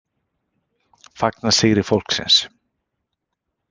Fagna sigri fólksins